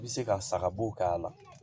I bɛ se ka saga bo k'a la